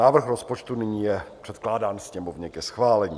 Návrh rozpočtu je nyní předkládán Sněmovně ke schválení.